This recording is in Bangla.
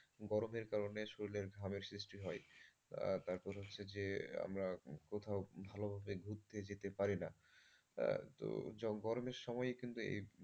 গরমের কারণে শরীরের ঘামের সৃষ্টি হয় তারপর হচ্ছে যে আমরা কোথাও ভালোভাবে ঘুরতে যেতে পারি না। তো গরমের সময় কিন্তু এই,